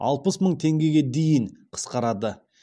алпыс мың теңгеге дейін қысқарады